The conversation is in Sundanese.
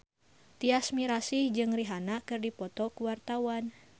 Tyas Mirasih jeung Rihanna keur dipoto ku wartawan